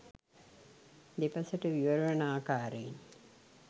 දෙපසට විවර වන ආකාරයෙන්